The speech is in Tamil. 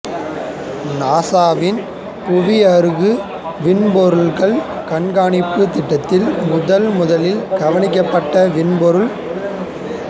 நாசாவின் புவியருகு விண்பொருட்கள் கண்கானிப்பு திட்டத்தில் முதன் முதலில் கவனிக்கப்பட்ட விண்பொருள்